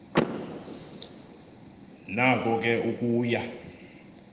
nako ke ukuya